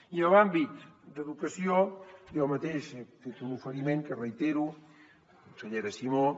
i en l’àmbit d’educació jo mateix he fet un oferiment que reitero consellera simó